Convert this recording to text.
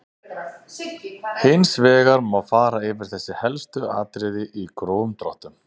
Hins vegar má fara yfir þessi helstu atriði í grófum dráttum.